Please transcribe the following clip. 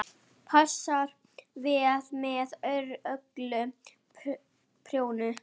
Passar vel með öllu kjöti.